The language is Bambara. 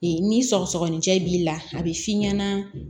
Ee ni sɔgɔsɔgɔninjɛ b'i la a bɛ f'i ɲɛna